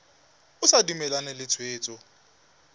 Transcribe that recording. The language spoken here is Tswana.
o sa dumalane le tshwetso